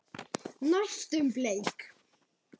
Næstum bleik.